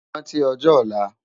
Ránti òjò òlá